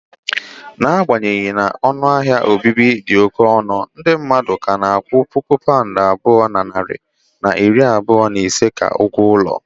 N'agbanyeghị na ọnụ ahịa obibi dị oke ọnụ, ndị mmadụ ka na-akwụ puku pound abụọ na narị na iri abụọ na ise ka ụgwọ ụlọ.